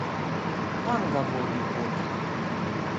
Kam ga vodi pot?